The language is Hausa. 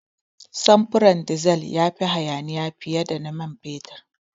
Samfurin dizal ya fi hayaniya fiye da na man fetur.